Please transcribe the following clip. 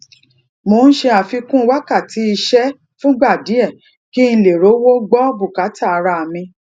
mo n ṣe àfikún wakati iṣé fúngbà díè kí n lè rówó gbó bùkátà ara mi